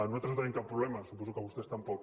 nosaltres no tenim cap problema suposo que vostès tampoc